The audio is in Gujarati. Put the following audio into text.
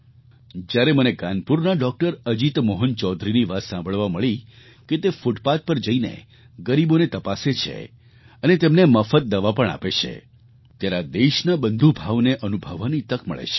જ્યારે મને કાનપુરના ડૉક્ટર અજીત મોહન ચૌધરીની વાત સાંભળવા મળી કે તે ફૂટપાથ પર જઈને ગરીબોને તપાસે છે અને તેમને મફત દવા પણ આપે છે ત્યારે આ દેશના બંધુભાવને અનુભવવાની તક મળે છે